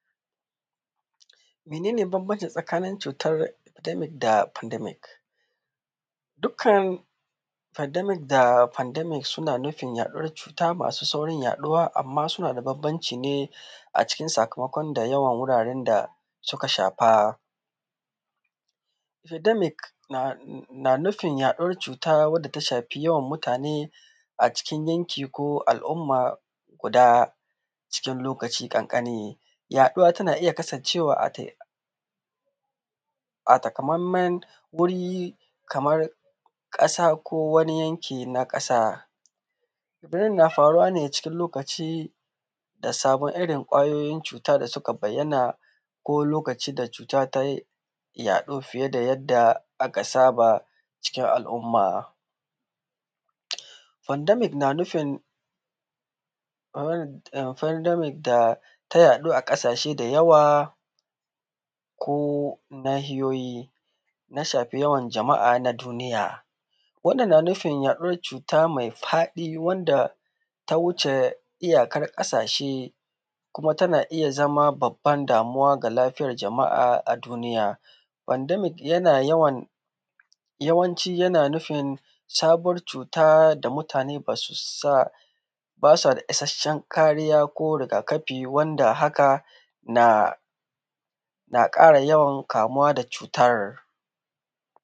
Mene ne bambanci tsakanin cutar pendemic da pandemic? Dukkan pandemic da pendemic suna nufin yaɗuwar cuta masu saurin yaɗuwa, amma suna da bambanci ne, a cikin sakamakon da yawan wuraren da suka shafa. Pendemic na nufin yaɗuwar cuta wanda ta shafi yawan mutane a cikin yanki ko al'umma guda a cikin lokaci ƙanƙani. Yaɗuwa tana iya kasancewa ate, a takamaiman wuri kamar ƙasa ko wani yanki na ƙasa. Daren na faruwa ne cikin lokaci da sabon irin ƙwayoyin cuta da suka bayyana, ko lokacin da cuta ta yi yaɗo fiye da yadda aka saba cikin al'umma. Pandemic na nufin ehh, pandemic da ta yaɗu a ƙasashe da yawa, ko Nahiyoyi na shafi yawan jama'a na duniya. Wannan na nufin yaɗuwar cuta mai faɗi wanda ta wuce iyakar ƙasashe, kuma tana iya zama babban damuwa ga lafiyar jama'a a duniya. Pandemic yana yawan, yawanci yana nufin, sabuwar cuta da mutane ba su sa, ba sa da issashiyar kariya ko rigakafi wanda haka na ƙara yawan kamuwa da cutar.